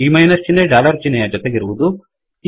ಈ ಮೈನಸ್ ಚಿಹ್ನೆ ಡಾಲರ್ ಚಿಹ್ನೆಯ ಜೊತೆಗಿರುವದು